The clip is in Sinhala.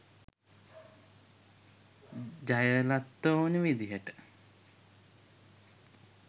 ජයලත්ට ඕනේ විදිහට.